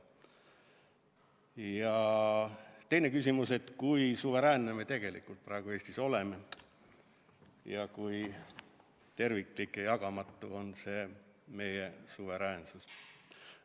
Ja teine küsimus: kui suveräänsed me tegelikult praegu Eestis oleme ning kui terviklik ja jagamatu see meie suveräänsus on?